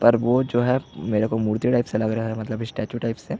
पर वो जो है मेरेको मूर्ति टाइप से लग रहा है मतलब स्टैच्चू टाइप से --